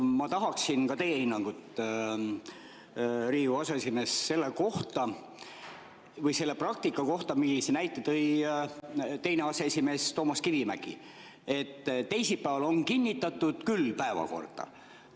Ma tahaksin teie hinnangut, Riigikogu aseesimees, selle praktika kohta, nagu tõi näite teine aseesimees Toomas Kivimägi, et on küll kinnitatud päevakorda teisipäeval.